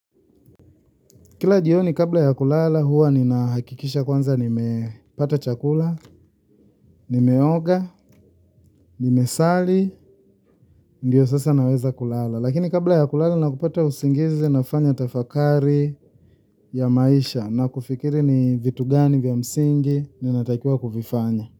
Kila jioni kabla ya kulala huwa nina hakikisha kwanza nimepata chakula, nimeoga, nimesali, ndiyo sasa naweza kulala. Lakini kabla ya kulala na kupata usingizi nafanya utafakari ya maisha na kufikiri ni vitu gani vya msingi ninatakiwa kuvifanya.